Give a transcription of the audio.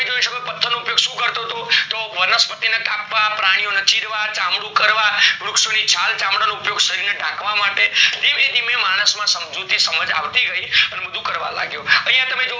અયા જોય તમે શકો પથર નો ઉપયોગ શું કરતો હતો તો વનસ્પતિ ને કાપવા, પ્રાણી ઓને ચીરવા, ચામડું કરવા, વૃક્ષો ને છાલચામડા કાઢવા શરીરને ઢાકવા માટે ધીમે ધીમે માણસ માં સમાજ સમજુતી અબી ગય અને બધું કરવા લાગ્યો.